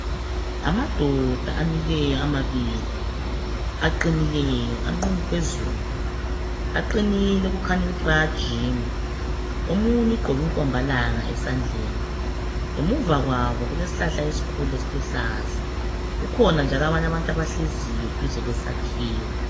Amadoda amileyo amabili aqinileyo, anqunu phezulu aqinile okukhanya ukuthi bayajima. Omunye ugqoke inkombalanga esandleni. Ngemuva kwabo kulesihlala esikhulu esiluhlaza kukhona njalo abanye abantu abahleziyo duze kwesakhiwo